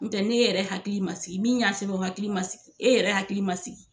N tɛ n'e yɛrɛ hakili man sigi min y'a sɛbɛn o hakili man sigi e yɛrɛ hakili man sigi.